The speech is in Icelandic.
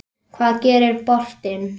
Hvað gerir boltinn?